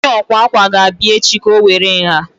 Onye akwa akwa ga-abịa echi ka o were nha